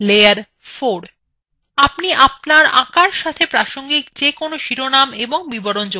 আপনি আপনার আঁকার সাথে প্রাসঙ্গিক যে কোন শিরোনাম এবং বিবরণ যোগ করতে পারেন